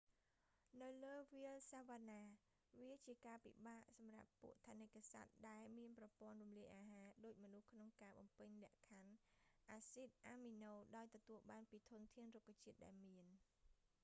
នៅលើវាលសាវ៉ាណា វាជាការពិបាកសម្រាប់ពួកថនិកសត្វដែលមានប្រព័ន្ធរំលាយអាហារដូចមនុស្សក្នុងការបំពេញលក្ខខណ្ឌអាស៊ីដអាមីណូដោយទទួលបានពីធនធានរុក្ខជាតិដែលមាន